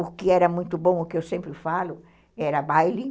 O que era muito bom, o que eu sempre falo, era baile.